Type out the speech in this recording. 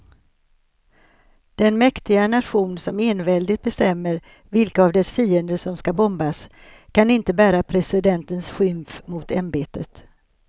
Den mäktiga nation som enväldigt bestämmer vilka av dess fiender som ska bombas kan inte bära presidentens skymf mot ämbetet.